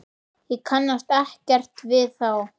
Ég kannast ekkert við þá.